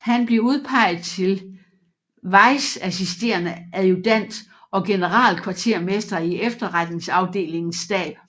Han blev udpeget til vice assisterende adjutant og generalkvartermester i efterretningsafdelingens stab